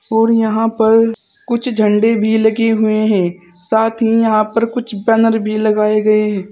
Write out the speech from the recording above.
और यहां पर कुछ झंडे भी लगे हुए है साथ ही यहां पर कुछ बैनर भी लगाए गए हैं।